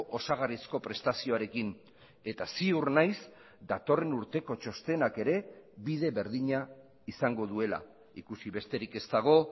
osagarrizko prestazioarekin eta ziur naiz datorren urteko txostenak ere bide berdina izango duela ikusi besterik ez dago